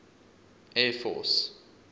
air force